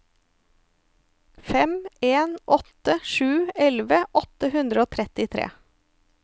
fem en åtte sju elleve åtte hundre og trettitre